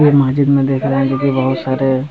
वो मस्जिद में देख रहें हैं जो की बहुत सारे --